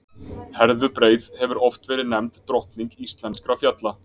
Herðubreið hefur oft verið nefnd drottning íslenskra fjalla.